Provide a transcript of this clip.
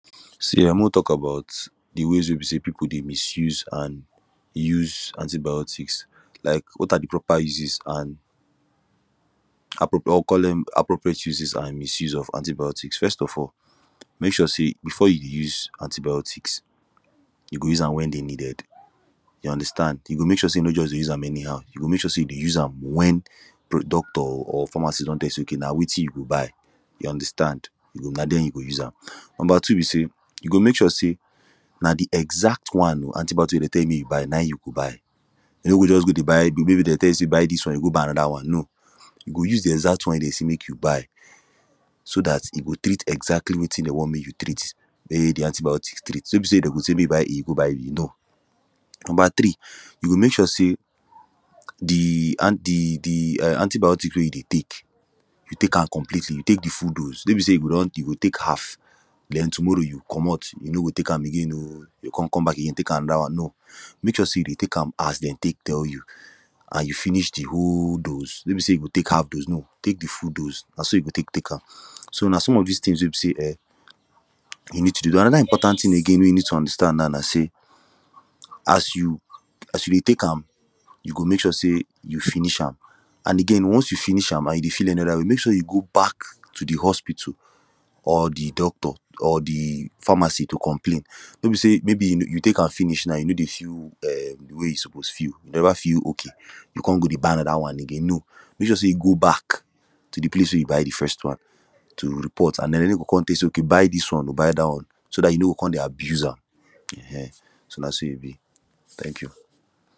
See um mek we tok about de way wey be say people dey misuse and use antibiotics like wat are de proper uses an appropriate or we call it appropriate uses an misuse of antibiotics first of all mek sure say before you use antibiotics you go use am wen dey needed you understand you go mek sure say you no just dey use am anyhow you go mek sure say you dey use am wen doctor or pharmacist don tell you say okay na wetin you go buy you understand na then you go use am number two be say you go mek sure say na de exact one antibiotics wey dey tell you mek you buy na him you go buy no go just go dey buy maybe dey tell you say buy dis one you go buy anoda one no you go use de exact one dem say mek you buy so dat e go treat exactly wetin dem want mek you treat wey de antibiotics treat no be say dem go say mek you go buy e you go buy no number three you go mek sure say de de um antibiotics wey you dey tek you tek am completely you tek de full dose no be say you go don you go tek half then tomorrow you comot you no go tek am again oo you go come come back you go tek anoda one no mek sure say you dey Tek am as dem tek tell you an you finish de whole dose no dey say you go tek half dose no tek de full dose na so you go tek tek am so na some of dis tins wey be say um you need to do anoda important tin again wey you need to understand now na say as you dey Tek am you go mek sure say you finish am an again once you finish am an e dey feel any oda way mek sure you go back to de hospital or de doctor or de pharmacy to complain no be say maybe you Tek am finish now you no dey feel um de day you suppose feel you never feel okay you come go dey buy anoda one again no mek sure say you go back to de place wey you buy de first one to report an na dem go com tell you say okay but dis one oo buy dat one so dat you no go com dey abuse am so na so e be tank you